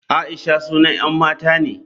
Aisha sunan 'yan mata ne.